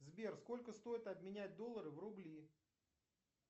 сбер сколько стоит обменять доллары в рубли